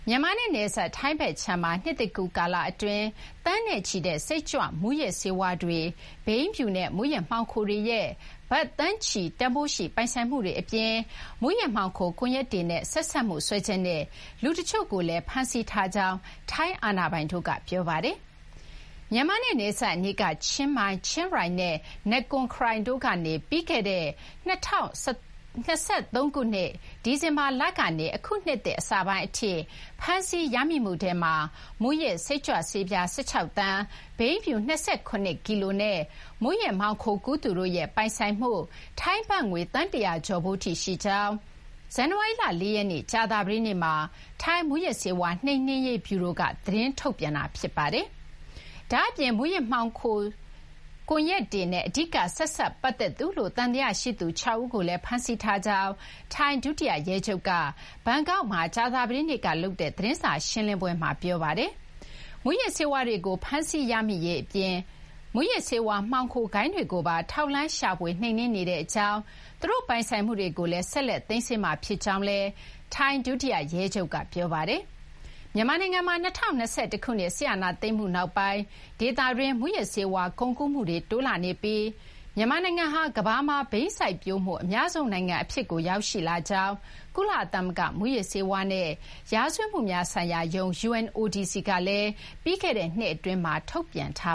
မြန်မာနဲ့ နယ်စပ် ထိုင်းဘက်ခြမ်းမှာ နှစ်သစ်ကူး ကာလ အတွင်း သန်းနဲ့ချီတဲ့ စိတ်ကြွမူးယစ်ဆေးဝါးတွေ၊ ဘိန်းဖြူ ၊ မူးယစ်မှောင်ခိုတွေရဲ့ ဘတ် သန်းချီ တန်ဖိုးရှိ ပိုင်ဆိုင်မှုတွေ အပြင် မူးယစ်မှောင်ခို ကွန်ရက်တွေနဲ့ ဆက်စပ်မှုစွဲချက်နဲ့ လူ တချို့ကိုလည်း ဖမ်းဆီးထားကြောင်း ထိုင်းအာဏာပိုင်တို့က ပြောပါတယ်။ မြန်မာနဲ့ နယ်စပ်အနီးက ချင်းမိုင်၊ ချင်းရိုင် နဲ့ နကွန် ခရိုင်တို့ကနေ ပြီးခဲ့တဲ့ ၂၀၁၃ ခုနှစ် ဒီဇင်ဘာလကနေ အခု နှစ်သစ် အစပိုင်း အထိ ဖမ်းဆီးရမိမှုထဲမှာ မူးယစ် စိတ်ကြွဆေးပြား ၁၆ သန်း၊ ဘိန်းဖြူ ၂၇ ကီလိုနဲ့ မူးယစ်မှောင်ခိုကူးသူတို့ရဲ့ ပိုင်ဆိုင်မှု ထိုင်းဘတ်ငွေ သန်း ၁၀၀ ကျော်ဖိုးထိ ရှိကြောင်း ဇန်နဝါရီလ ၄ ရက်နေ့ ကြာသပတေးနေ့မှာ ထိုင်း မူးယစ်ဆေးဝါး နှိမ်နင်းရေးဗျူရိုက သတင်းထုတ်ပြန်တာ ဖြစ်ပါတယ်။ ဒါ့အပြင် မူးယစ်ဆေးဝါး မှောင်ခို ကွန်ရက်တွေနဲ့ အဓိက ဆက်စပ် ပတ်သက်သူ ၆ ဦးကိုလည်း ဖမ်းဆီးထားကြောင်း ထိုင်း ဒုတိယရဲချုပ်က ဘန်ကောက်မှာ ကြာသပတေးနေ့ လုပ်တဲ့ သတင်းစာ ရှင်းလင်းပွဲ အတွင်းမှာ ပြောဆိုခဲ့ပါတယ်။ မူးယစ်ဆေးဝါးတွေကို ဖမ်းဆီးရမိရေး အပြင် မူးယစ်ဆေးဝါး မှောင်ခို ဂိုဏ်းတွေကိုပါ ထောက်လှမ်းရှာဖွေနှိမ်နင်းနေကြောင်း၊ သူတို့ ပိုင်ဆိုင်မှုတွေကိုလည်း ဆက်လက် သိမ်းဆည်းမှာ ဖြစ်ကြောင်းလည်း ထိုင်း ဒုတိယ ရဲချုပ်က ပြောပါတယ်။ မြန်မာနိုင်ငံမှာ ၂၀၂၁ ခုနှစ် စစ်အာဏာသိမ်းမှု နောက်ပိုင်းမှာ ဒေသတွင်း မူးယစ်ဆေးဝါး ကုန်ကူးမှုတွေ တိုးလာနေပြီး မြန်မာနိုင်ငံဟာ ကမ္ဘာမှာ ဘိန်းစိုက်ပျိုးမှု အများဆုံး နိုင်ငံ အဖြစ်ကို ရောက်ရှိလာကြောင်းလည်း ကုလသမဂ္ဂ မူးယစ်ဆေးဝါးနဲ့ ရာဇဝတ်မှုများဆိုင်ရာရုံး UNODC က ပြီးခဲ့တဲ့နှစ် အတွင်းမှာ ထုတ်ပြန်ထာ